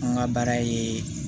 An ka baara ye